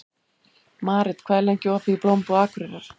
Marit, hvað er lengi opið í Blómabúð Akureyrar?